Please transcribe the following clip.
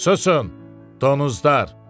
Süsün, donuzlar!